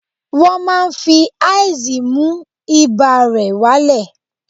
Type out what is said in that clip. Wọ́n máa fi ice mú ibà rẹ̀ wá lẹ̀